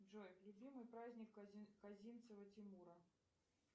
джой любимый праздник козинцева тимура